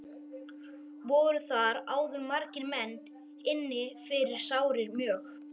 Voru þar áður margir menn inni fyrir sárir mjög.